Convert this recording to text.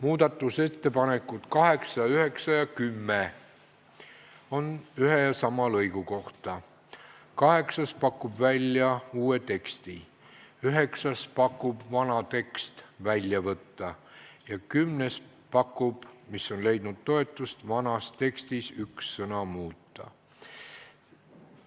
Muudatusettepanekud nr 8, 9 ja 10 on ühe ja sama lõigu kohta: kaheksandaga pakutakse välja uus tekst, üheksandaga soovitakse vana tekst välja võtta ja kümnendaga, mis on leidnud toetust, pakutakse välja, et vanas tekstis võiks üht sõna muuta.